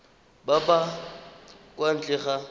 ba ba kwa ntle ga